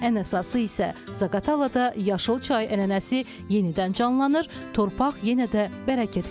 Ən əsası isə Zaqatalada yaşıl çay ənənəsi yenidən canlanır, torpaq yenə də bərəkət verir.